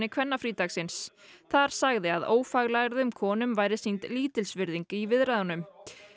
kvennafrídagsins þar sagði að ófaglærðum konum væri sýnd lítilsvirðing í viðræðunum